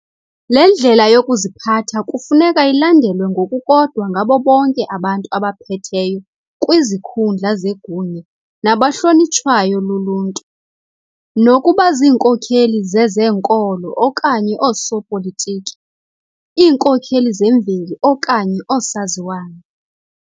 Le ndlela yokuziphatha kufuneka ilandelwe ngokukodwa ngabo bonke abantu abaphetheyo kwizikhundla zegunya nabahlonitshwayo luluntu, nokuba zinkokeli zezenkolo okanye oosopolitiki, iinkokeli zemveli okanye oosaziwayo.